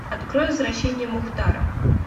открой возвращение мухтара